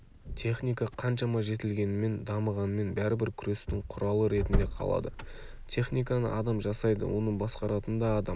техника қаншама жетілгенімен дамығанымен бәрібір күрестің құралы ретінде қалады техниканы адам жасайды оны басқаратын да адам